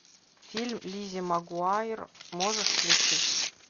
фильм лиззи магуайер можешь включить